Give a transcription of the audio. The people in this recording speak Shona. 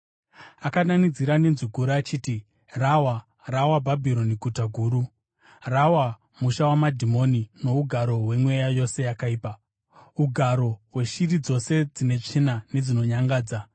Akadanidzira nenzwi guru achiti: “Rawa! Rawa Bhabhironi Guta Guru! Rava musha wamadhimoni nougaro hwemweya yose yakaipa, ugaro hweshiri dzose dzine tsvina nedzinonyangadza.